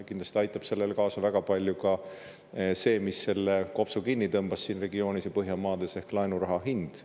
Kindlasti aitab sellele väga palju kaasa ka see, mis selle kopsu kinni tõmbas siin regioonis ja Põhjamaades, ehk laenuraha hind.